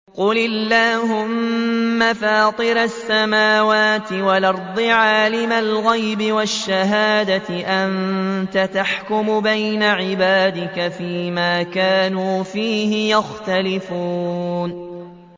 قُلِ اللَّهُمَّ فَاطِرَ السَّمَاوَاتِ وَالْأَرْضِ عَالِمَ الْغَيْبِ وَالشَّهَادَةِ أَنتَ تَحْكُمُ بَيْنَ عِبَادِكَ فِي مَا كَانُوا فِيهِ يَخْتَلِفُونَ